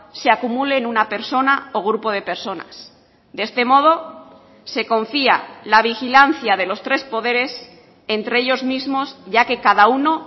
se acumule en una persona o grupo de personas de este modo se confía la vigilancia de los tres poderes entre ellos mismos ya que cada uno